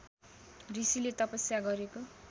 ऋषिले तपस्या गरको